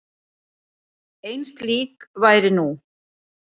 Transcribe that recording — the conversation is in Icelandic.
Ein slík væru nú.